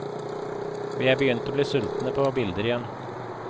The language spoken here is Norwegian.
Vi er begynt å bli sultne på bilder igjen.